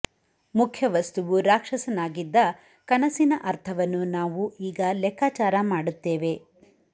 ಮುಖ್ಯ ವಸ್ತುವು ರಾಕ್ಷಸನಾಗಿದ್ದ ಕನಸಿನ ಅರ್ಥವನ್ನು ನಾವು ಈಗ ಲೆಕ್ಕಾಚಾರ ಮಾಡುತ್ತೇವೆ